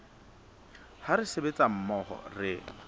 ha re sebetsa mmoho re